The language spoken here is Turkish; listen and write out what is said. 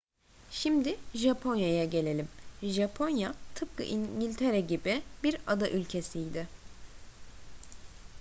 şimdi japonya'ya gelelim. japonya tıpkı i̇ngiltere gibi bir ada ülkesiydi